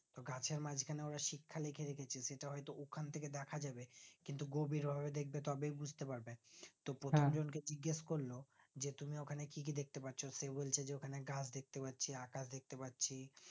গাছের মাজখানে ওরা শিক্ষা লিখে রেখেছে সেটা হয়তো ওখান থেকে দেখাযাবে কিন্তু গভীরে ওরা দেখবে তবেই বুজতে পারবে তো প্রথম কে জিগেস করলো যে তুমি ওখানে কি কি দেখতে পাচ্ছ সে বলছে যে ওখানে গাছ দেখতে পাচ্ছি আকাশ দেখতে পাচ্ছি